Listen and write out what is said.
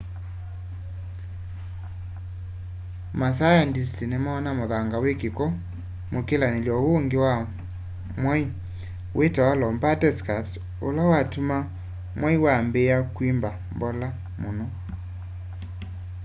masayandisti nimoona muthanga wi kiko mukilanily'o uungi wa mwai witawa lobate scarps ula watuma mwai wambiia kwimba mbola muno